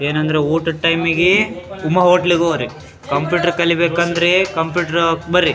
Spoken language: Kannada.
ಏನಂದ್ರೆ ಊಟದ ಟೈಮ್ ಸುಮ ಹೋಟೆಲ್ ಗ್ ಹೋಗ್ರಿ ಕಂಪ್ಯೂಟರ್ ಕಲಿಬೇಕಂದ್ರೆ ಕಂಪ್ಯೂಟರ್ ಬರ್ರಿ.